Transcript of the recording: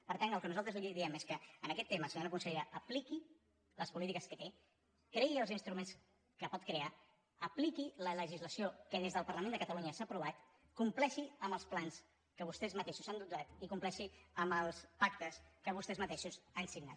per tant el que nosaltres li diem és que en aquest tema senyora consellera apliqui les polítiques que té creï els instruments que pot crear apliqui la legislació que des del parlament de catalunya s’ha aprovat compleixi amb els plans de què vostès mateixos s’han dotat i compleixi amb els pactes que vostès mateixos han signat